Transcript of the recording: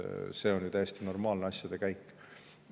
See on ju täiesti normaalne asjade käik.